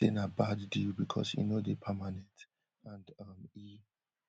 im say na bad deal because e no dey permanent and um e